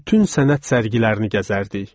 Bütün sənət sərgilərini gəzərdik.